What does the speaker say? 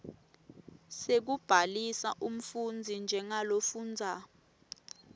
sekubhalisa umfundzi njengalofundza